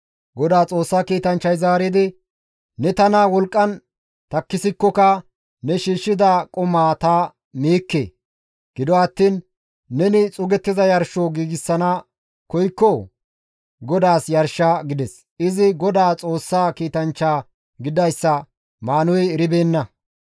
Godaa Xoossa kiitanchchay zaaridi, «Ne tana wolqqan takkisikokka ne shiishshida qumaa ta miikke. Gido attiin neni xuugettiza yarsho giigsana koykko, GODAAS yarsha» gides. Izi Godaa Xoossa kiitanchcha gididayssa Maanuhey eribeenna.